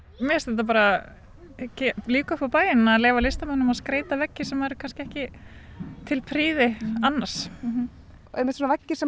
mér finnst þetta bara lífga upp á bæinn að leyfa listamönnum að skreyta veggi sem eru ekki til prýði annars einmitt svona veggir sem